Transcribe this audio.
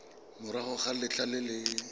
morago ga letlha le le